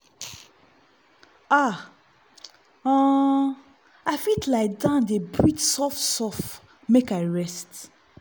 ah um i fit lie down dey breathe soft-soft make i rest.